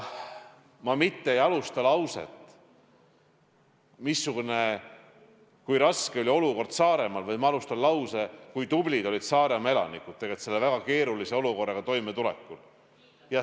Ma mitte ei alusta lauset sellest, kui raske oli olukord Saaremaal, vaid ma alustan lauset sellest, kui tublid olid Saaremaa elanikud selle väga keerulise olukorraga toimetulekul.